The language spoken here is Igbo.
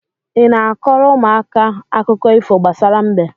Ị na-a kọọrọ ụmụaka akụkọ ifo gbasara mbe?